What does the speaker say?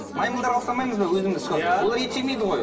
маймылдарға ұқсамаймыз ба өзіміз олар ет жемейді ғой